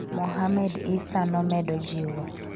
Mohamed Issa nomedo jiwo